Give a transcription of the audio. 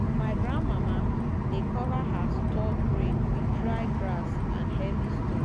my grandmama dey cover her stored grain with dry grass and heavy stone.